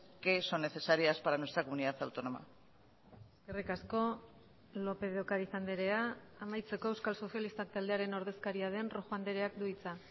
que son necesarias para nuestra comunidad autónoma eskerrik asko lópez de ocáriz andrea amaitzeko euskal sozialistak taldearen ordezkaria den rojo andreak du hitza